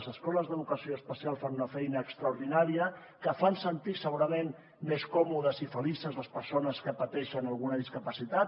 les escoles d’educació especial fan una feina extraordinària que fan sentir segurament més còmodes i felices les persones que pateixen alguna discapacitat